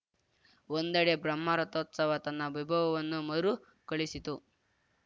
ಒಂದೆಡೆ ಬ್ರಹ್ಮ ರಥೋತ್ಸವ ತನ್ನ ವೈಭವವನ್ನು ಮರು ಕಳಿಸಿತ್ತು